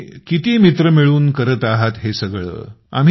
तुम्ही किती मित्र मिळून करत आहात हे सगळं